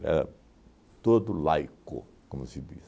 Era todo laico, como se diz.